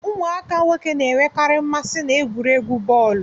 Ụmụaka nwoke na-enwekari mmasị na egwuregwu bọọlu